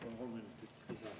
Palun kolm minutit lisaaega.